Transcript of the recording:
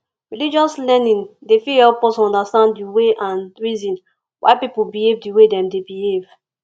religious learning dey fit help us understand di way and reason why pipo behave di way dem dey behave